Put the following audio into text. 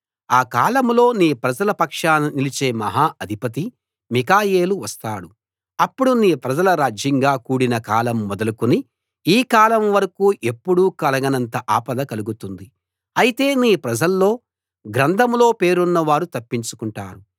ఆ కాలంలో నీ ప్రజల పక్షాన నిలిచే మహా అధిపతి మిఖాయేలు వస్తాడు అప్పుడు నీ ప్రజలు రాజ్యంగా కూడిన కాలం మొదలుకుని ఈ కాలం వరకూ ఎప్పుడూ కలగనంత ఆపద కలుగుతుంది అయితే నీ ప్రజల్లో గ్రంథంలో పేరున్న వారు తప్పించుకుంటారు